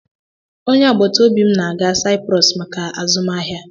Onye agbata obi m na-aga Saịprọs maka azụmahịa